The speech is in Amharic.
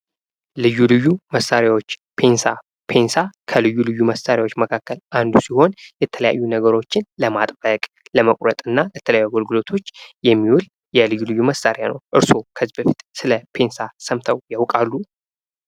ልዩ ልዩ መሳሪያዎች፦ ፔንሳ፦ ፔንሳ ከልዩ ልዩ መሳሪያዎች መካከል አንዱ ሲሆን የተለያዩ ነገሮችን ለማጥበቅ ከመቁረጥ እና ለተለያዩ አገልግሎቶች የሚውል የልዩ ልዩ መሳሪያ ነው። እርስዎ ከዚህ በፊት ስለ ፔንሳ ሰምተው ያቃሉ?